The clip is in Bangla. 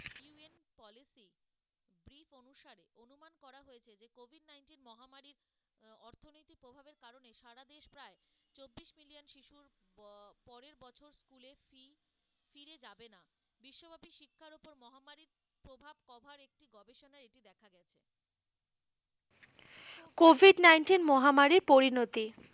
কোভিড nineteen মহামারী পরিণতি,